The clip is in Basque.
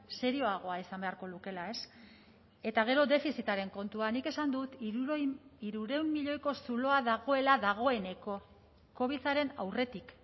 serioagoa izan beharko lukeela eta gero defizitaren kontua nik esan dut hirurehun milioiko zuloa dagoela dagoeneko covidaren aurretik